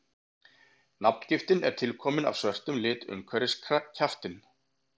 nafngiftin er tilkomin af svörtum lit umhverfis kjaftinn